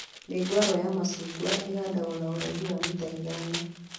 Mĩũngũrwa ya macungwa ĩhandagwo na ũraihu wa mita ithano